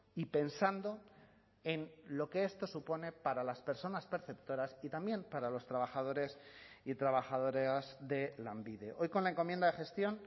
y pensando en lo que esto supone para las personas perceptoras y también para los trabajadores y trabajadoras de lanbide hoy con la encomienda de gestión